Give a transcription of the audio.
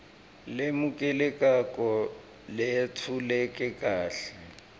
lemukelekako leyetfuleke kahle